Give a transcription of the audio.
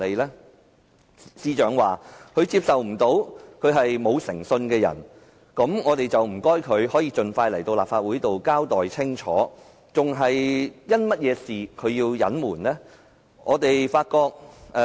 司長說，她無法接受自己是個無誠信的人，那麼我想請她盡快前來立法會交代清楚，她為何要隱瞞？